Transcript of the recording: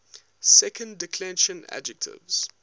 second declension adjectives